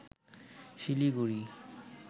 Siliguri